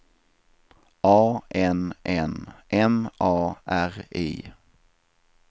A N N M A R I